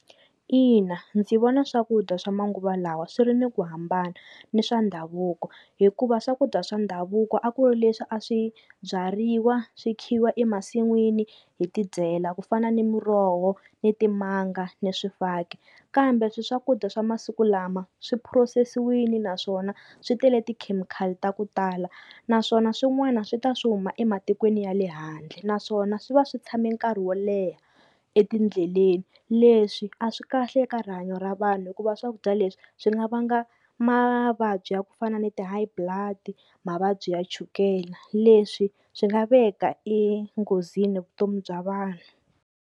Ina ndzi vona swakudya swa manguva lawa swi ri ni ku hambana ni swa ndhavuko, hikuva swakudya swa ndhavuko a ku ri leswi a swi byariwa swi khiwa emasin'wini hi tidyela ku fana ni muroho, ni timanga, ni swifaki kambe swi swakudya swa masiku lama swi phurosesiwini naswona swi tele tikhemikhali ta ku tala naswona swin'wana swi ta swi huma ematikweni ya le handle, naswona swi va swi tshame nkarhi wo leha etindleleni leswi a swi kahle eka rihanyo ra vanhu hikuva swakudya leswi swi nga vanga mavabyi ya ku fana ni-ti high blood mavabyi ya chukela, leswi swi nga veka enghozini vutomi bya vanhu.